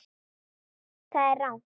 Það er rangt.